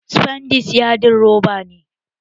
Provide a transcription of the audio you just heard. Sifandes yadin roba ne